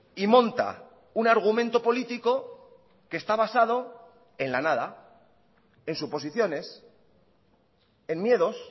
y monta un argumento político que está basado en la nada en suposiciones en miedos